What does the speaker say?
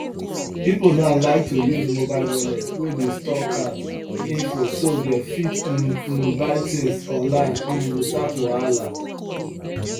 people now like to use mobile wallet wey dey store card info so dem fit um um buy things online um without wahala